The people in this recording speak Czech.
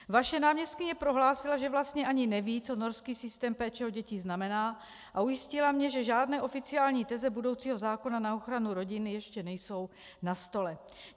Vaše náměstkyně prohlásila, že vlastně ani neví, co norský systém péče o děti znamená, a ujistila mě, že žádné oficiální teze budoucího zákona na ochranu rodiny ještě nejsou na stole.